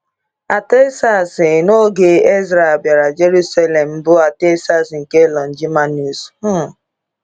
Artaxerxes n’oge Ezra bịara Jerusalem bụ Artaxerxes nke Longimanus. um